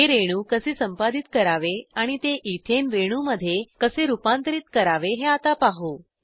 हे रेणू कसे संपादित करावे आणि ते इथेन रेणूमध्ये कसे रूपांतरीत करावे हे आता पाहू